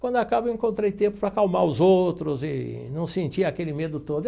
Quando acaba, encontrei tempo para acalmar os outros e não sentia aquele medo todo.